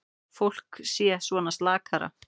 Fólk sé svona slakara.